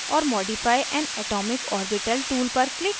add or modify an atomic orbital tool पर click करें